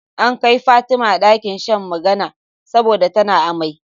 An kai Fatima ɗakin shan magana saboda tana amai